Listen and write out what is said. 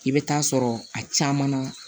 I bɛ taa sɔrɔ a caman na